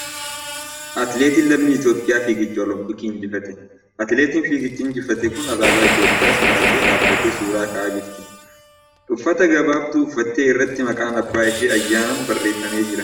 Atileetiin lammii Itiyoophiyaa fiigicha Oloompikii injifatte. Atileetiin fiigicha injifatte tun alaabaa Itiyoophiyas marattee dhaabbattee suuraa ka'aa jirti . Uffat gabaabduu uffatte irratti maqaan abbaa ishee ' Ayyaanaan ' barreeffamee jira.